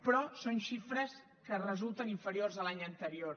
però són xifres que resulten inferiors a l’any anterior